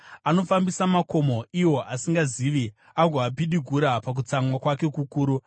Anofambisa makomo iwo asingazivi agoapidigura mukutsamwa kwake kukuru.